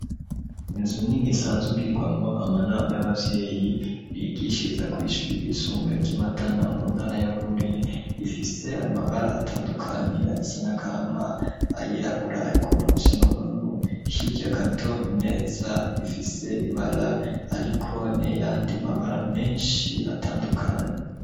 Inzu nini isanzwe igirwamwo amanama y'abavyeyi bigishiriza kw'ishure ryisumbuye ryimatana mu ntara ya bururi rifise amabara atandukanye ayasa n'agahama ayirabura ayagomba gusa n'ubururu hirya gato imeza ifise ibara ariko nayandi mabara menshi atandukanye.